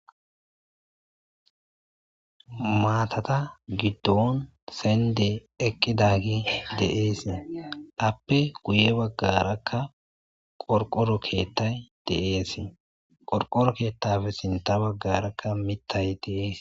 Matata gidon sendey eqidage de'es apple guye bagaraka qorqoro kethay de'esqorqoro kethappeka sinta bagaraka mithay de'es.